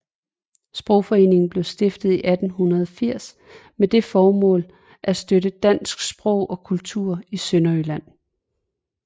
Sprogforeningen blev stiftet i 1880 med det formål at støtte dansk sprog og kultur i Sønderjylland